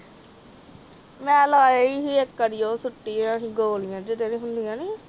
ਮੈਂ ਲਈ ਸੀ ਇਕ ਵਾਰੀ ਉਹ ਸੱਤੀ ਜੀ ਗੋਲੀਆਂ ਜਿਹੜਾ ਹੁੰਦਾ ਨੀ